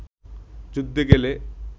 যুদ্ধে গেলে